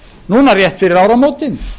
núna rétt fyrir áramótin